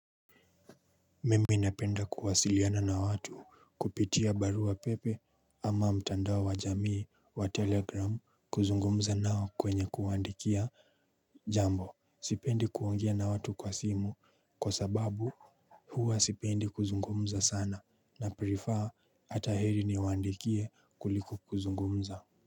Mimi napenda kuwasiliana na watu kupitia barua pepe ama mtandao wa jamii wa 'Telegram' kuzungumza nao kwenye kuwaandikia jambo. Sipendi kuongea na watu kwa simu kwa sababu huwa sipendi kuzungumza sana na 'prefer' hata heri niwaandikie kuliko kuzungumza.